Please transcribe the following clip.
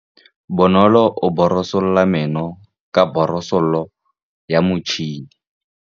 Bonolô o borosola meno ka borosolo ya motšhine.